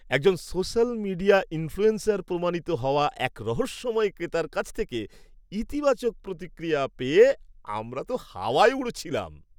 একজন social media influencer প্রমাণিত হওয়া এক রহস্যময় ক্রেতার কাছ থেকে ইতিবাচক প্রতিক্রিয়া পেয়ে আমরা তো হাওয়ায় উড়ছিলাম।